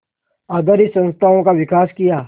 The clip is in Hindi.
आधारित संस्थाओं का विकास किया